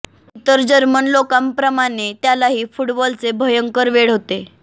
इतर जर्मन लोकांप्रमाणे त्यालाही फ़ुटबाँल चे भयंकर वेड होते